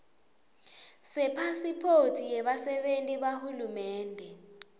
sepasiphothi yebasebenti bahulumende